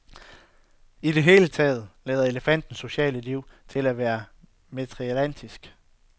I det hele taget lader elefanternes sociale liv til at være matriarkalsk.